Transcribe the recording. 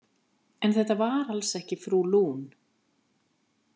En þetta var alls ekki frú Lune.